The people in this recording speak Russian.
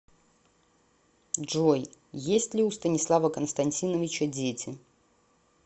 джой есть ли у станислава константиновича дети